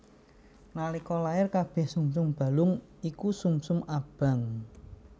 Nalika lair kabèh sumsum balung iku sumsum abang